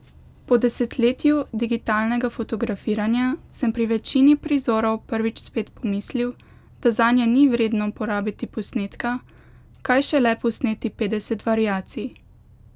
Po desetletju digitalnega fotografiranja sem pri večini prizorov prvič spet pomislil, da zanje ni vredno porabiti posnetka, kaj šele posneti petdeset variacij.